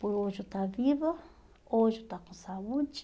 Por hoje eu estar viva, hoje eu estar com saúde.